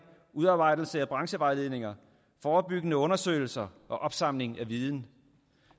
udarbejdelse af branchevejledninger forebyggende undersøgelser og opsamling af viden